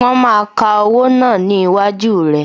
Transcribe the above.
Wọn máa ka owó náà ni iwájú rẹ